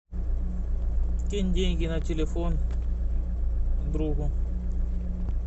кинь деньги на телефон другу